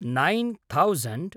nine thousand